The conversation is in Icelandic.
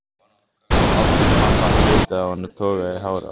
Ásdís mamma, tautaði hún og togaði í hárið á sér.